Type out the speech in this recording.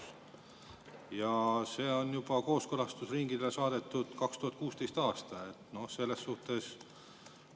See saadeti kooskõlastusringile juba 2016. aastal.